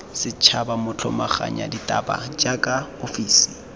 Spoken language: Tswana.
setšhaba motlhomaganya ditaba jaaka ofisi